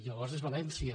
llavors és valència